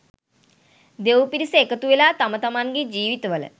දෙවි පිරිස එකතුවෙලා තම තමන්ගේ ජීවිතවල